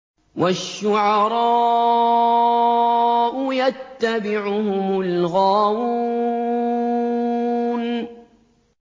وَالشُّعَرَاءُ يَتَّبِعُهُمُ الْغَاوُونَ